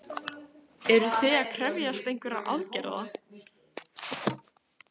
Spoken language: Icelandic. Sunna: Eruð þið að krefjast einhverra aðgerða?